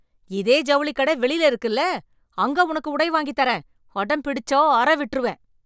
இதே ஜவுளிக் கட வெளில இருக்குல்ல, அங்க உனக்கு உடை வாங்கித் தரேன். அடம் பிடிச்சா அற விட்ருவேன்.